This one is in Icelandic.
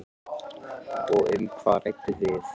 Fréttamaður: Og um hvað rædduð þið?